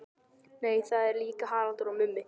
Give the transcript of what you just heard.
Nei það er líka Haraldur og Mummi.